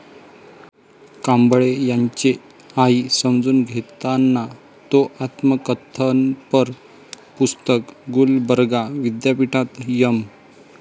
कांबळे यांचे 'आई समजून घेताना' तो आत्मकथनपर पुस्तक गुलबर्गा विद्यापीठात एम.